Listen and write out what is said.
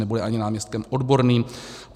Nebude ani náměstkem odborným.